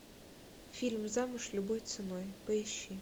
фильм замуж любой ценой поищи